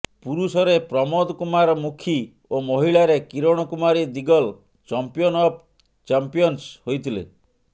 ପୁରୁଷରେ ପ୍ରମୋଦ କୁମାର ମୁଖି ଓ ମହିଳାରେ Kiran Kumari Digal champion of champions ହୋଇଥିଲେ